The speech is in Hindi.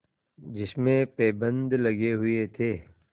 जिसमें पैबंद लगे हुए थे